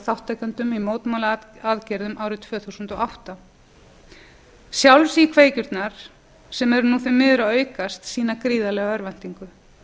þátttakendum í mótmælaaðgerðum árið tvö þúsund og átta sjálfsíkveikjurnar sem eru því miður að aukast sýna gríðarlega örvæntingu